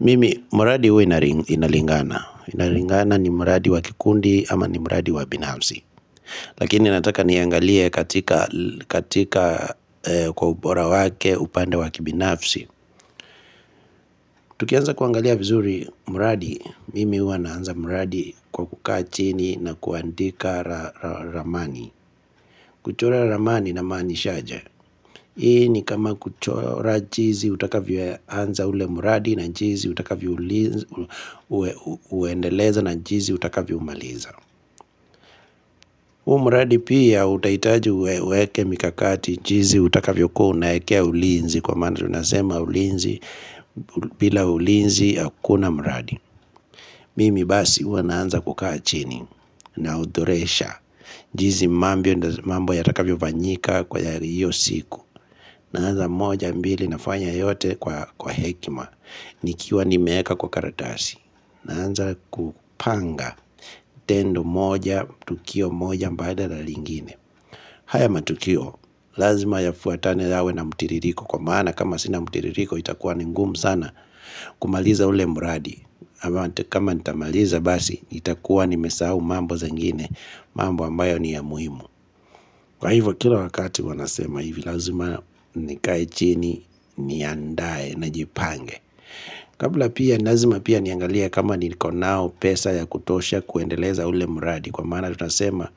Mimi, muradi hui inalingana. Inalingana ni muradi wakikundi ama ni muradi wabinafsi. Lakini nataka niangalie katika kwa ubora wake upande wakibinafsi. Tukianza kuangalia vizuri muradi, mimi hua naanza muradi kwa kukaa chini na kuandika ramani. Kuchora ramani na manishaje. Hii ni kama kuchora jizi utakavyo anza ule muradi na jizi utakavyo uendeleza na jizi utakavyo umaliza muradi pia utaitaji uweweke mikakati jizi utakavyo kua unaekea ulinzi kwa mana tunasema ulinzi bila ulinzi akuna muradi Mimi basi uwa naanza kukaa chini na udoresha jizi mambo ya takavyo vanyika kwa yari iyo siku na anza moja mbili nafanya yote kwa hekima Nikiwa ni meeka kwa karatasi na anza kupanga tendu moja, tukio moja mbaida la lingine haya matukio, lazima yafuatane lawe na mutiririko Kwa maana kama sina mutiririko itakuwa nengumu sana kumaliza ule mbradi kama itamaliza basi, itakuwa nimesahu mambo zengine mambo ambayo ni ya muhimu Kwa hivyo kila wakati wanasema hivi lazima nikai chini ni andaye na jipange Kabla pia nilazima pia niangalia kama niliko nao pesa ya kutosha kuendeleza ule muradi Kwa mana tunasema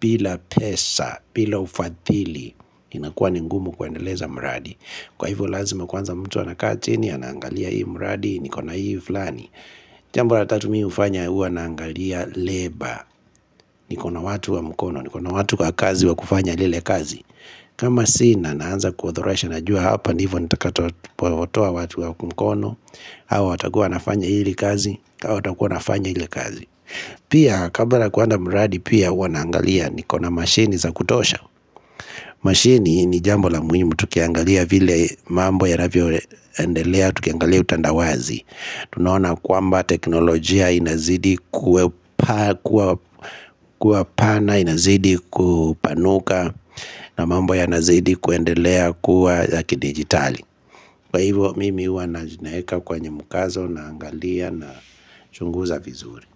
bila pesa, bila ufatili inakuwa ningumu kuendeleza muradi Kwa hivyo lazima kwanza mtu anakati ni anangalia hii muradi, nikona hii vlani Jambo la tatumii ufanya uwa naangalia labor nikona watu wa mkono, nikona watu kwa kazi wa kufanya lile kazi kama sii na naanza kuothora shanajua hapa nivo nitakatoa watu wa mkono Awa watakuwa nafanya hili kazi awa watakuwa nafanya hili kazi Pia kabala kuanda muradi pia uwa naangalia Nikona machine za kutosha Machine ni jambo la muhimu tukiangalia vile mambo ya navio endelea Tukiangalia utandawazi tunaona kuamba teknolojia inazidi kuwa pana, inazidi kupanuka na mambo ya inazidi kuendelea kuwa zaki digitali Kwa hivo mimi uwa na jineka kwa nyemukazo na angalia na chunguza vizuri.